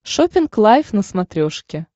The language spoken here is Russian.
шоппинг лайв на смотрешке